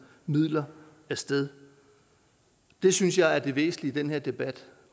midler af sted det synes jeg er det væsentlige i denne debat